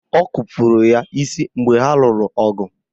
Ọ kupuru ya isi mgbe ha lụrụ ọgụ